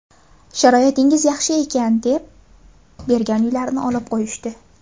Sharoitingiz yaxshi ekan, deb bergan uylarini olib qo‘yishdi.